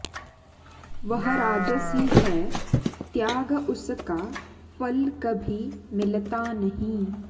वह राजसी है त्याग उसका फल कभी मिलता नहीं